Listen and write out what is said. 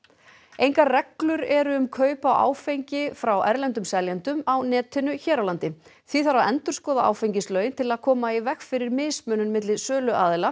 engar reglur eru um kaup á áfengi frá erlendum seljendum á netinu hér á landi því þarf að endurskoða áfengislögin til að koma í veg fyrir mismunun milli söluaðila